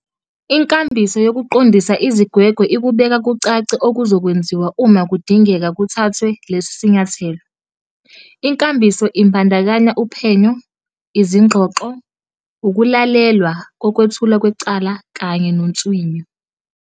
Inkambiso yokuqondisa izigwegwe ikubeka kucace okuzokwenziwa uma kudingeka kuthathwe lesi sinyathelo. Inkambiso ibandakanya uphenyo, izingxoxo, ukulalelwa kokwethulwa kwecala kanye nonswinyo.